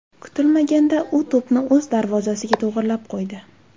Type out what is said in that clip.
Kutilmaganda u to‘pni o‘z darvozasiga to‘g‘rilab qo‘ydi.